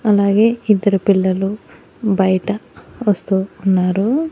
అలాగే ఇద్దరు పిల్లలు బయట వస్తూ ఉన్నారు.